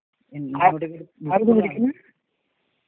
ആരാ ഇത് വിളിക്കുന്നത്?